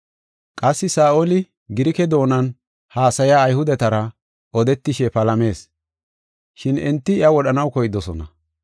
Qassi Saa7oli Girike doonan haasaya Ayhudetara odetishe palamees. Shin enti iya wodhanaw koydosona.